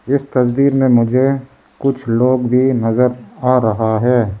इस तस्वीर में मुझे कुछ लोग भी नजर आ रहा है।